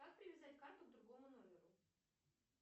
как привязать карту к другому номеру